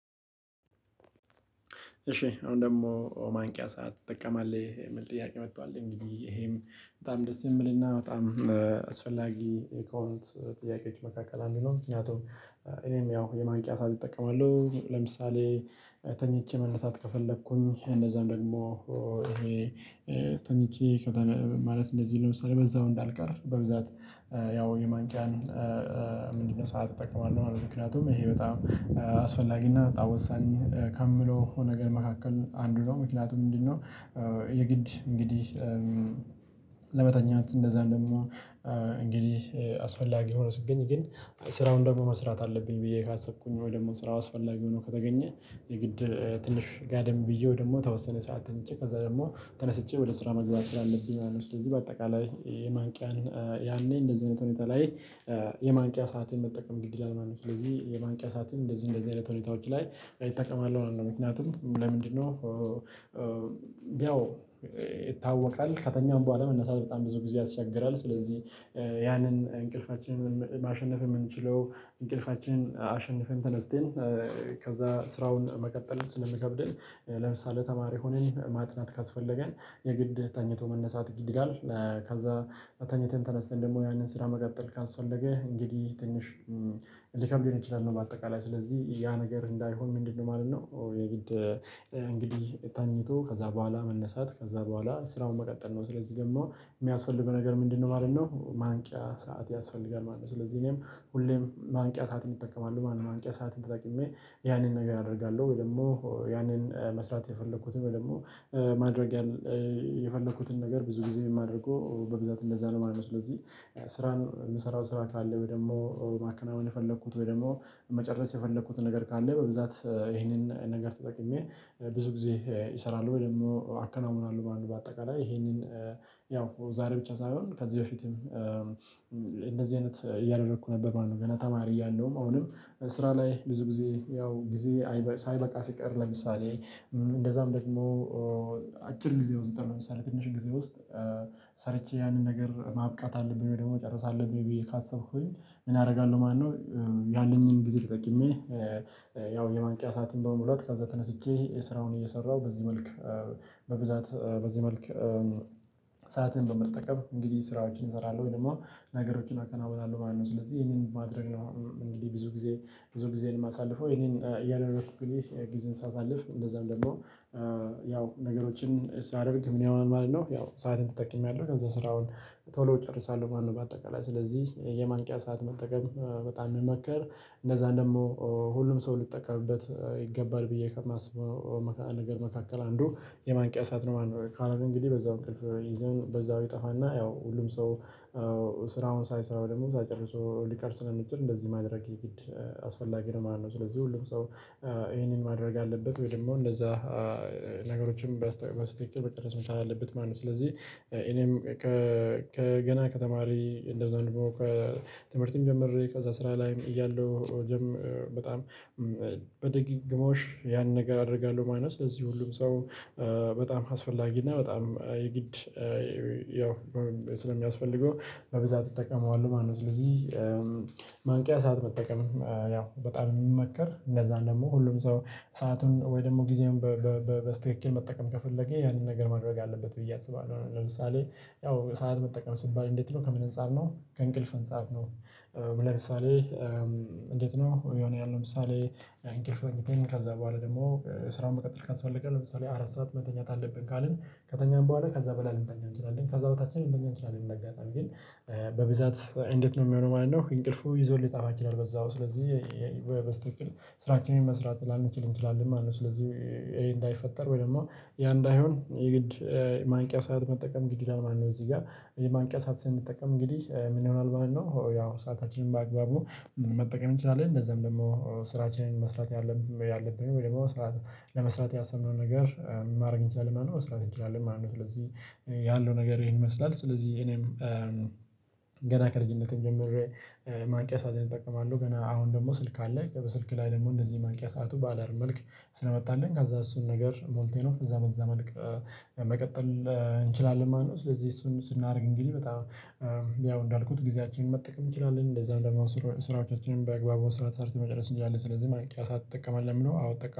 እሺ አሁን ደግሞ ማንቂያ ሰዓት ትጠቀማለህ የሚል ጥያቄ መጧል? እንግዲህ ይሄም በጣም ደስ የሚልና በጣም አስፈላጊ ከሆኑት ጥያቄዎች መካከል አንዱ ነው። ምክንያቱም እኔም ያው የማንቂያ ሰዓት እጠቀማለሁ። ለምሳሌ ተኝቼ መነሳት ከፈለኩኝ እንደዛም ደግሞ ይሄ ተኝቼ ማለት እንደዚህ ለምሳሌ በዛው እንዳልቀር በብዛት ያው የማንቂያን ምንድነው ሰዓት እጠቀማለሁ ማለት ነው። ምክንያቱም ይሄ በጣም አስፈላጊና በጣም ወሳኝ ከምለው ነገር መካከል አንዱ ነው። ምክንያቱም ምንድነው የግድ እንግዲህ ለመተኛት እንደዛ እንደምን እንግዲህ አስፈላጊ ሆኖ ስገኝ ግን ስራውን ደግሞ መስራት አለብኝ። ብዬ ካሰብኩኝ ወይ ደግሞ ስራ አስፈላጊ ሆኖ ከተገኘ የግድ ትንሽ ጋደም ብዬ ወይ ደሞ የተወሰነ ሰዓት ተኝቼ ከዛ ደግሞ ተነስቼ ወደ ስራ መግባት ስላለብኝ ስለዚህ በአጠቃላይ የማንቂያን ያኔ እንደዚህ አይነት ሁኔታ ላይ የማንቂያ ሰአቴን መጠቀም ግድ ይላል ማለት ነው። ስለዚህ የማንቂያ ሰዓትን እንደዚህ እንደዚህ አይነት ሁኔታዎች ላይ እጠቀማለሁ ማለት ነው። ምክንያቱም ለምንድነው ያው ይታወቃል ከተኛሁም በኋላ መነሳት በጣም ብዙ ጊዜ ያስቸግራል። ስለዚህ ያንን እንቅልፋችንን ማሸነፍ የምንችለው እንቅልፋችን አሸንፈን ተነስተን ከዛ ስራውን መቀጠል ስለሚከብደን። ለምሳሌ ተማሪ ሆነን ማጥናት ካስፈለገን የግድ ተኝቶ መነሳት ግድ ይላል። ከዛ ተኝተን ተነስተን ደግሞ ያንን ስራ መቀጠል ካስፈለገ እንግዲህ ትንሽ ሊከብዱን ይችላሉ። በአጠቃላይ ስለዚህ ያ ነገር እንዳይሆን ምንድነው ማለት ነው። የግድ እንግዲህ ተኝቶ ከዛ በኋላ መነሳት ከዛ በኋላ ስራውን መቀጠል ነው። ስለዚህ ደሞ የሚያስፈልገው ነገር ምንድነው ማለት ነው? ማንቂያ ሰዓት ያስፈልጋል ማለት ነው። ስለዚህ እኔም ሁሌም ማንቂያ ሰዓትን እጠቀማለሁ ማለትጰነው ማንቂያ ሰዓትን ተጠቅሜ ያንን ነገር አደርጋለሁ ወይ ደግሞ ያንን መስራት የፈለኩትን ወይ ደግሞ ማድረግ የፈለኩትን ነገር ብዙ ጊዜ የማደርገው በብዛት እንደዛ ነው። ማለት ነው። ስለዚህ ስራን የምሰራው ስራ ካለ ወይ ደግሞ ማከናወን የፈለኩት ወይ ደግሞ መጨረስ የፈለኩት ነገር ካለ በብዛት ይሄንን ነገር ተጠቅሜ ብዙ ጊዜ እሰራለሁ ወይ ደግሞ አከናውናለሁ ማለት ነው። በአጠቃላይ ይሄንን ያው ዛሬ ብቻ ሳይሆን ከዚህ በፊትም እንደዚህ አይነት እያደረኩ ነበር ማለት ነው። ገና ተማሪ እያለሁም አሁንም ስራ ላይ ብዙ ጊዜ ያው ጊዜ ሳይበቃ ሲቀር ለምሳሌ እንደዛም ደግሞ አጭር ጊዜ ውስጥ ለምሳሌ ትንሽ ጊዜ ውስጥ ሰርቼ ያንን ነገር ማብቃት አለብኝ። ወይ ደግሞ ጨርሳለሁ ብዬ ካሰብኩኝ ምን አደርጋለሁ ማነው? ያለኝን ጊዜ ተጠቅሜ ያው የማንቂያ ሰዓትን በመሙላት ከዛ ተነስቼ ስራውን እየሰራሁ በዚህ መልክ በብዛት በዚህ መልክ ሰዓትን በመጠቀም እንግዲህ ስራዎችን እሰራለሁ ወይ ደሞ ነገሮችን አከናውናለሁ ማለት ነው። ስለዚህ ይሄንን ማድረግ ነው እንግዲህ ብዙ ጊዜ ብዙ ጊዜዬን የማሳልፈው ይሄንን እያደረኩኝ እንግዲህ ጊዜን ሳሳልፍ እንደዛም ደግሞ ያው ነገሮችን ሳደርግ ምን ይሆናል ማለት ነው። ያው ሰአቴን ተጠቅሜያለሁ ከዛ ስራውን ቶሎ እጨርሳለሁ ማለት ነው። በአጠቃላይ ስለዚህ የማንቂያ ሰዓት መጠቀም በጣም የሚመከር እንደዛ ደግሞ ሁሉም ሰው ልጠቀምበት ይገባል ብዬ ከማስበው ነገር መካከል አንዱ የማንቂያ ሰዓት ነው። ማለት ነው። ካልሆነ እንግዲህ በዛው እንቅልፍ ይዘን በዛው ይጠፋና ያው ሁሉም ሰው ስራውን ሳይሰራው ደግሞ ሳይጨርሰው ሊቀር ስለሚችል እንደዚህ ማድረግ የግድ አስፈላጊ ነው። ማለት ነው። ስለዚህ ሁሉም ሰው ይሄንን ማድረግ አለበት። ወይ ደግሞ እንደዛ ነገሮችም በስተ በስትክክል መጨረስ መቻል አለበት ማለት ነው። ስለዚህ እኔም ከ ከገና ከተማሪ እንደዛ ደሞ ከ ትምርት ጀምሬ ከዛ ስራ ላይም እያለሁ በጣም በድግግሞሽ ያን ነገር አደርጋለሁ ማለት ነው። ስለዚህ ሁሉም ሰው በጣም አስፈላጊ እና በጣም የግድ ያው ስለሚያስፈልገው በብዛት እጠቀመዋለሁ ማለት ነው። ስለዚህ ማንቂያ ሰዓት መጠቀም ያው በጣም የሚመከር። እነዛን ደግሞ ሁሉም ሰው ሰአቱን ወይ ደግሞ ጊዜውን በስትክክል መጠቀም ከፈለገ ያንን ነገር ማድረግ አለበት ብዬ አስባለሁ። ለምሳሌ ያው ሰዓት መጠቀም ስባል እንዴት ነው ከምን አንፃር ነው? ከእንቅልፍ አንፃር ነው? ለምሳሌ እንዴት ነው የሆነ ያህል ለምሳሌ እንቅልፍ ከዛ በኋላ ደግሞ ስራውን መቀጠል ካስፈለገ ለምሳሌ አራት ሰዓት መተኛት አለብን ካልን ከተኛን በኋላ ከዛ በላይ ልንተኛ እንችላለን። ከዛ በታችም ልንተኛ እንችላለን። እንደ አጋጣሚ ግን በብዛት እንዴት ነው የሚሆነው ማለት ነው። እንቅልፉ ይዞን ሊጠፋ ይችላል። በዛው ስለዚህ በ በስትክክል ስራችንን መስራት ላንችል እንችላለን ማለት ነው። ስለዚህ ይሄ እንዳይፈጠር ወይ ደግሞ ያ እንዳይሆን የግድ ማንቂያ ሰዓት መጠቀም ግድ ይላል ማለት ነው። እዚህ ጋር ይሄ ማንቂያ ሰዓት ስንጠቀም እንግዲህ ምን ይሆናል ማለት ነው? ያው ሰአታችንን በአግባቡ መጠቀም እንችላለን። እንደዛም ደግሞ ስራችንን መስራት ያለብን ወይ ደግሞ ለመስራት ያሰብነውን ነገር ማድረግ እንችላለን ማለት ነው። መስራት እንችላለን ማለት ነው። ስለዚህ ያለው ነገር ይሄን ይመስላል። ስለዚህ እኔም ገና ከልጅነቴም ጀምሬ ማንቂያ ሰአቴን እጠቀማለሁ። ገና አሁን ደግሞ ስልክ አለ በስልክ ላይ ደግሞ እንደዚህ ማንቂያ ሰዓቱ ባላርም መልክ ስለመጣልኝ ከዛ እሱን ነገር ሞልቴ ነው ከዛ በዛ መልክ መቀጠል እንችላለን ማለት ነው። ስለዚህ እሱን ስናደርግ እንግዲህ በጣም ያው እንዳልኩት ጊዜያችንን መጠቀም እንችላለን። እንደዛ ደግሞ ስራዎቻችንን በአግባቡ መስራት ሰርተን መጨረስ እንችላለን። ስለዚህ ማንቂያ ሰዓት ትጠቀማለህ ለሚለው አዎ እጠቀ